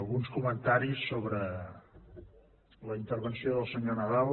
alguns comentaris sobre la intervenció del senyor nadal